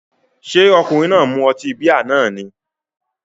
Ṣé ọkùnrin náà mu ọtí bíà náà ni?